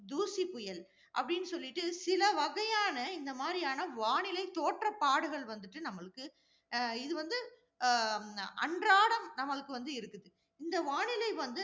தூசிப் புயல். அப்படின்னு சொல்லிட்டு, சில வகையான இந்த மாதிரியான வானிலை தோற்ற பாடுகள் வந்துட்டு நம்மளுக்கு, அஹ் இது வந்து அஹ் அன்றாடம் நம்மளுக்கு வந்து இருக்குது. இந்த வானிலை வந்து